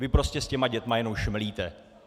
Vy prostě s těmi dětmi jenom šmelíte!